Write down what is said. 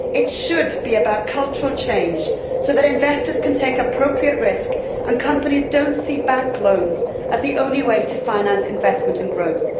It should be about cultural change so that investors can take appropriate risk, and so that companies do not see bank loans as the only way to finance investment and growth.